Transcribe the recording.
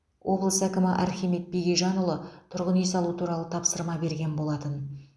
облыс әкімі архимед бегежанұлы тұрғын үй салу туралы тапсырма берген болатын